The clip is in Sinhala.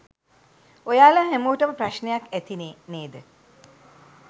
ඔයාලා හැමෝටම ප්‍රශ්නයක් ඇතිනේ නේද?